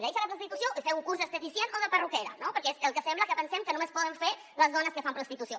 deixeu la prostitució i feu un curs d’esteticista o de perruquera no perquè és el que sembla que pensem que només poden fer les dones que fan prostitució